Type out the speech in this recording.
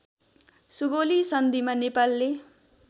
सुगौली सन्धिमा नेपालले